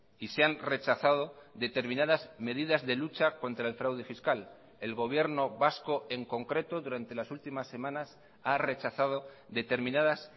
y se han rechazado determinadas medidas de lucha contra el fraude fiscal el gobierno vasco en concreto durante las últimas semanas ha rechazado determinadas